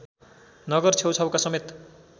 नगर छेउछाउका समेत